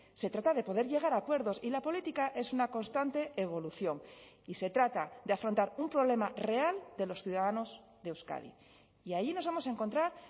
se trata de poder llegar a acuerdos y la política es una constante evolución y se trata de afrontar un problema real de los ciudadanos de euskadi y ahí nos vamos a encontrar